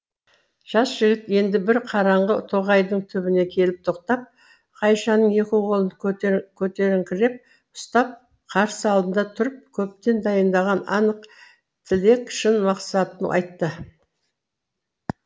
жас жігіт енді бір қараңғы тоғайдың түбіне келіп тоқтап ғайшаның екі қолын көтеріңкіреп ұстап қарсы алдында тұрып көптен дайындаған анық тілек шын мақсатын айтты